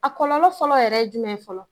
A kɔlɔlɔ fɔlɔ yɛrɛ jumɛn fɔlɔ?